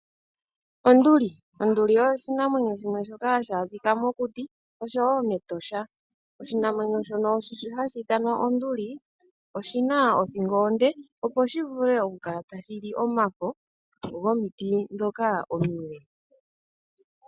Onduli Onduli oyo oshinamwenyo shimwe shoka hashi adhika mokuti, osho wo mEtosha. Oshinamwenyo shono hashi ithanwa onduli ,oshi na othingo onde opo shi vule oku kala tashi li omafo gomiti ndhoka omile.